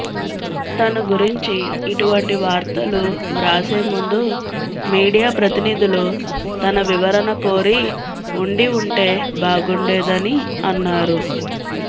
తన గురించి ఇటువంటి వార్తలు వ్రాసేముందు మీడియా ప్రతినిధులు తన వివరణ కోరి ఉండి ఉంటే బాగుండేదని అన్నారు